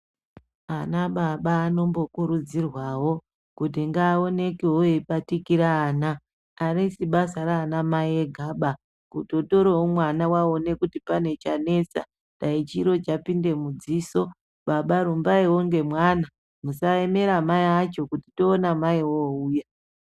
Anababa anombokurudzirwawo kuti ngaaonekewo eibatikira ana arisi basa raanamai egaba kutotorawo mwana waone kuti pane chanetsa dani chiro chapinda mudziso baba rumbaiwo ngemwana musaemera mai acho kuti toona mai ouya.